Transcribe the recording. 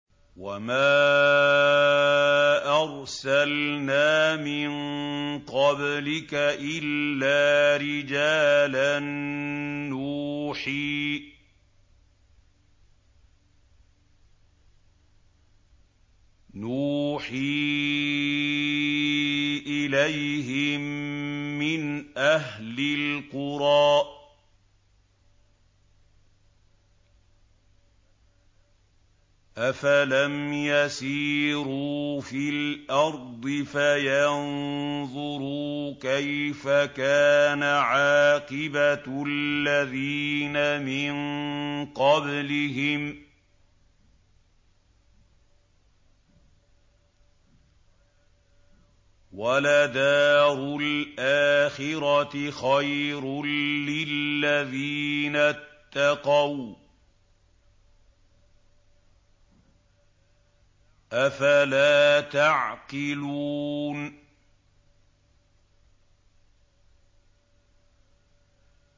وَمَا أَرْسَلْنَا مِن قَبْلِكَ إِلَّا رِجَالًا نُّوحِي إِلَيْهِم مِّنْ أَهْلِ الْقُرَىٰ ۗ أَفَلَمْ يَسِيرُوا فِي الْأَرْضِ فَيَنظُرُوا كَيْفَ كَانَ عَاقِبَةُ الَّذِينَ مِن قَبْلِهِمْ ۗ وَلَدَارُ الْآخِرَةِ خَيْرٌ لِّلَّذِينَ اتَّقَوْا ۗ أَفَلَا تَعْقِلُونَ